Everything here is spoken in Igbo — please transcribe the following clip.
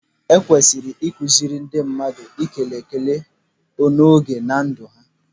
Ekwesịrị ịkụziri ndị mmadụ ikele ikele n'oge na ndụ ha.